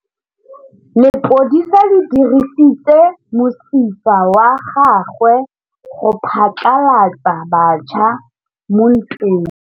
Lepodisa le dirisitse mosifa wa gagwe go phatlalatsa batšha mo ntweng.